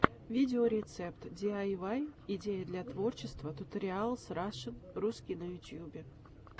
видеорецепт диайвай идеи для творчества туториалс рашн русский на ютьюбе